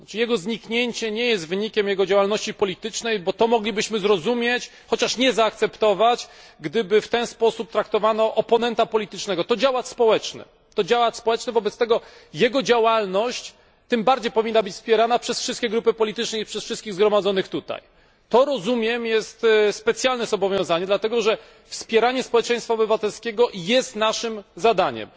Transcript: Jego zniknięcie nie jest wynikiem jego działalności politycznej, bo to moglibyśmy zrozumieć chociaż nie zaakceptować gdyby w ten sposób traktowano oponenta politycznego. To działacz społeczny, wobec tego jego działalność tym bardziej powinna być wspierana przez wszystkie grupy polityczne i przez wszystkich tutaj zgromadzonych. Rozumiem to jako specjalne zobowiązanie, dlatego że wspieranie społeczeństwa obywatelskiego jest naszym zadaniem.